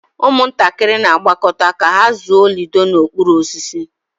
Ụmụntakịrị na-agbakọta ka ha zụọ ludo n'okpuru osisi.